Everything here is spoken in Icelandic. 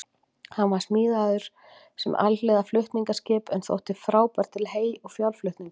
Hann var smíðaður sem alhliða flutningaskip en þótti frábær til hey- og fjárflutninga.